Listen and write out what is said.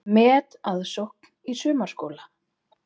Metaðsókn í sumarskóla